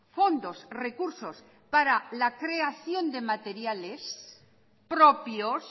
fondos recursos para la creación de materiales propios